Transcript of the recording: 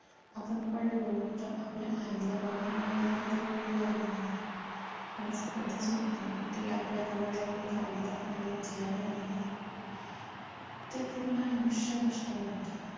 आपण पडलो तर आपल्या आईला बाबांना यायला कधी वेळ लागून जातो. पण असं कधीच होत नाही की ते आपल्या जवळ आहे आणि धावत आपल्याला उचलायला नाही आले ते पूर्ण आयुष्य कष्ट करतात